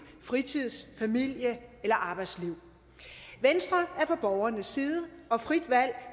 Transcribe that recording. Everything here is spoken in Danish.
fritids familie eller arbejdsliv venstre er på borgernes side og frit valg